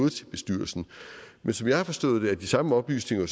bestyrelsen men som jeg har forstået det er de samme oplysninger